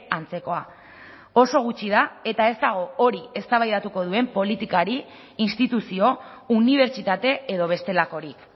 antzekoa oso gutxi da eta ez dago hori eztabaidatuko duen politikari instituzio unibertsitate edo bestelakorik